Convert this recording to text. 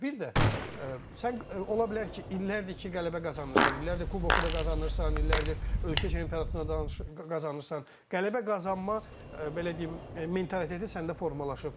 Bir də sən ola bilər ki, illərdir ki, qələbə qazanırsan, illərdir kuboku da qazanırsan, illərdir ölkə çempionatını da qazanırsan, qələbə qazanma, belə deyim, mentaliteti səndə formalaşıb.